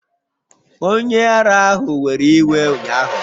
Onye ara ahụ were iwe ụnyahụ